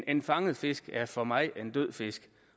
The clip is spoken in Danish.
en fanget fisk er for mig en død fisk